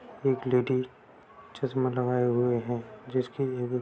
एक लेडी चश्में लगाए हुए हैं जिसके आगे--